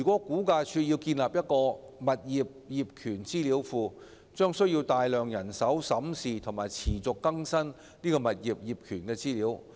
估價署如要建立一個物業業權資料庫，將需要大量人手審視及持續更新物業業權資料。